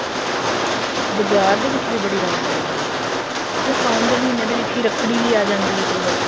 ਬਾਜ਼ਾਰ ਦੇ ਵਿੱਚ ਵੀ ਬੜੀ ਰੋਣਕ ਰਹਿੰਦੀ ਹੈ ਤੇ ਸਾਉਣ ਦੇ ਮਹੀਨੇ ਵਿੱਚ ਰੱਖੜੀ ਵੀ ਆ ਜਾਂਦੀ ਹੈ ਕਈ ਵਾਰ